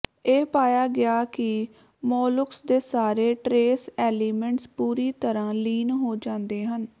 ਇਹ ਪਾਇਆ ਗਿਆ ਕਿ ਮੋਲੁਕਸ ਦੇ ਸਾਰੇ ਟਰੇਸ ਐਲੀਮੈਂਟਸ ਪੂਰੀ ਤਰਾਂ ਲੀਨ ਹੋ ਜਾਂਦੇ ਹਨ